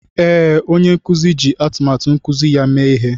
Ee, onye nkuzi ji atụmatụ nkuzi ya mee ihe